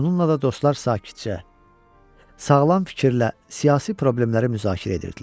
Bununla da dostlar sakitcə, sağlam fikirlə siyasi problemləri müzakirə edirdilər.